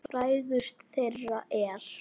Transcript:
Frægust þeirra er